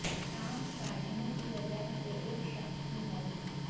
سانپ کاٹنے کی وجہ سے ایک شخص کی موت